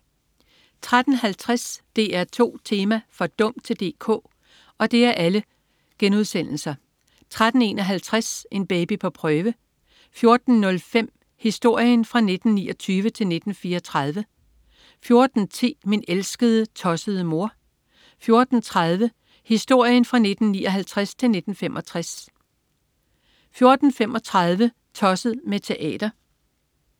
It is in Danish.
13.50 DR2 Tema: For dum til DK?* 13.51 En baby på prøve* 14.05 Historien fra 1929 til 1934* 14.10 Min elskede, tossede mor* 14.30 Historien fra 1959 til 1965* 14.35 Tosset med teater*